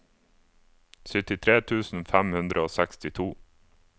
syttitre tusen fem hundre og sekstito